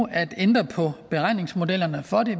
at ændre på beregningsmodellen